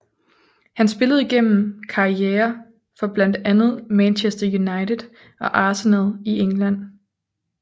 Han spillede gennem karriere for blandt andet Manchester United og Arsenal i England